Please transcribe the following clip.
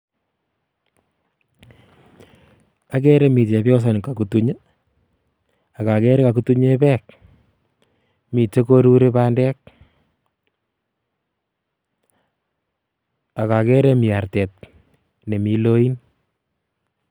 Okere Mii chebiosani kokutuny ak okere kokutunye beek, miten koruri bandek ak okere Mii artet nemii loin.